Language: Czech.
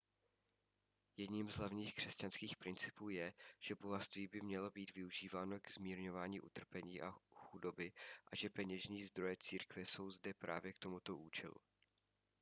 jedním z hlavních křesťanských principů je že bohatství by mělo být využíváno k zmírňování utrpení a chudoby a že peněžní zdroje církve jsou zde právě k tomuto účelu